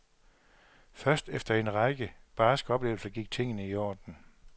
Først efter en række barske oplevelser gik tingene i orden.